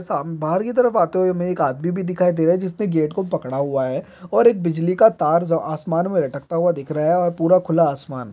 साम बाहर की तरफ आते हुए हमें एक आदमी भी दिखाई दे रहा है जिसने गेट को पकड़ा हुआ है और एक बिजली का तार आसमान में लटकता हुआ दिख रहा है और पूरा खुला आसमान --